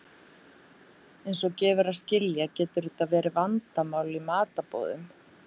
Eins og gefur að skilja getur þetta verið vandamál í matarboðum.